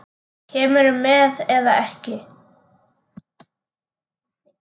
Kemurðu með eða ekki.